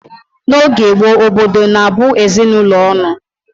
N'oge gboo, obodo na-abụ ezinụlọ ọnụ